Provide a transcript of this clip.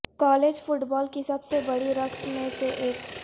college football کی سب سے بڑی رقص میں سے ایک